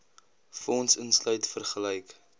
fonds insluit vergelyk